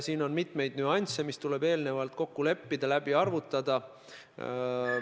Siin on mitmeid nüansse, mis tuleb eelnevalt kokku leppida, läbi arvutada.